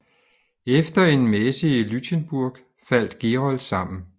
Efter en messe i Lütjenburg faldt Gerold sammen